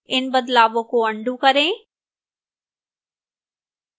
इन बदलावों को अन्डू करें